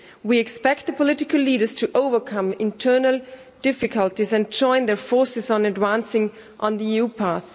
We expect the political leaders to overcome internal difficulties and join their forces on advancing on the EU path.